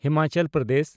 Himachal Pradesh